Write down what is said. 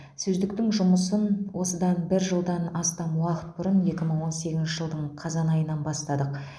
сөздіктің жұмысын осыдан бір жылдан астам уақыт бұрын екі мың он сегізінші жылдың қазан айынан бастадық